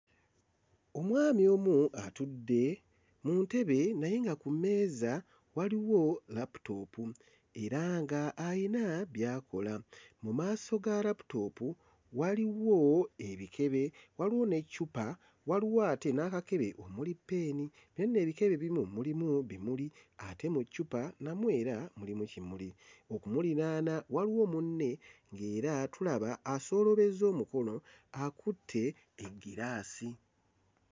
Omwami omu atudde mu ntebe naye nga ku mmeeza waliwo laputoopu era nga ayina by'akola. Mu maaso ga laputoopu waliwo ebikebe waliwo n'eccupa waliwo ate n'akakebe omuli peeni no nno ebikebe ebimu mulimu n'ebimuli ate n'eccupa namwo era mulimi kimuli, okumuliraana waliwo munne ng'era tulaba asooloobezza omukono akutte eggiraasi.